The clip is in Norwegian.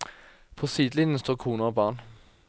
På sidelinjen står koner og barn.